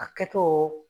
A kɛtɔ